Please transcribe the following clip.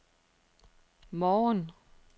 morgen